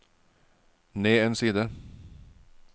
ned en side